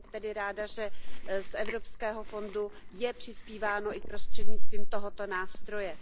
Jsem tedy ráda, že z evropského fondu je přispíváno i prostřednictvím tohoto nástroje.